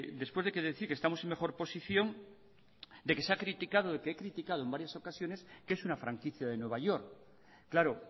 después de decir que estamos en mejor posición de que se ha criticado de que he criticado en varias ocasiones que es una franquicia de new york claro